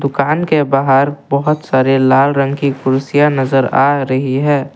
दुकान के बाहर बहोत सारे लाल रंग की कुर्सियां नजर आ रही है।